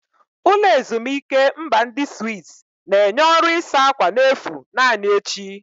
Ụlọ ezimuike mba ndi Swizz na-enye ọrụ ịsa ákwà n'efu naanị echi.